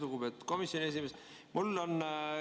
Lugupeetud komisjoni esimees!